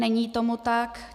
Není tomu tak.